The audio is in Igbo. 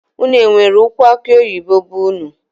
Unu enwere ụkwụ akuoyibo be unu?